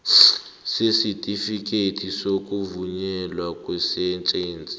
sesitifikhethi sokuvunyelwa kweejensi